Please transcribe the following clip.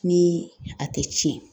Ni a tɛ tiɲɛ